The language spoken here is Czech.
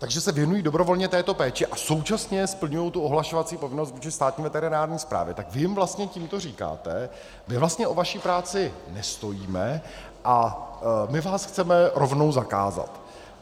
Takže se věnují dobrovolně této péči a současně splňují tu ohlašovací povinnost vůči státní veterinární správě, tak vy jim vlastně tímto říkáte, my vlastně o vaši práci nestojíme a my vás chceme rovnou zakázat.